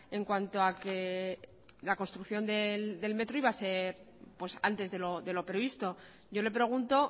en cuanto a que la construcción del metro iba a ser antes de lo previsto yo le pregunto